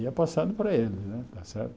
Ia passando para eles, né está certo?